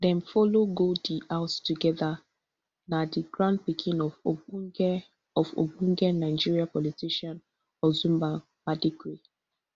dem follow go di house togeda na di grandpikin of ogbonge of ogbonge nigerian politician ozumba mbadiwe